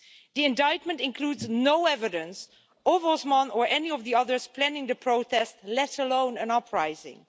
The indictment includes no evidence of Osman or any of the others planning the protest, let alone an uprising.